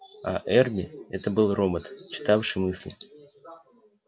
а эрби это был робот читавший мысли